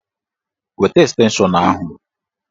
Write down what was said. Weta estenshọn ahụ!